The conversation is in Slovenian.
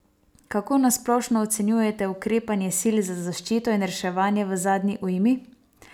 Kako na splošno ocenjujete ukrepanje sil za zaščito in reševanje v zadnji ujmi?